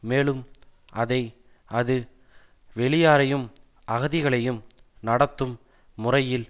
மேலும் அதை அது வெளியாரையும் அகதிகளையும் நடத்தும் முறையில்